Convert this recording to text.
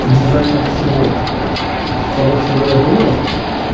дизайнер чего того чего я думаю